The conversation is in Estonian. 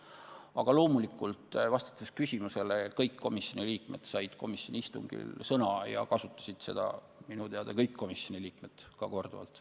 Aga vastates küsimusele, siis loomulikult said kõik komisjoni liikmed komisjoni istungil sõna ja kasutasid seda minu teada ka korduvalt.